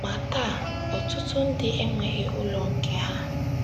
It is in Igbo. Ma taa, ọtụtụ ndị enweghị ụlọ nke ha.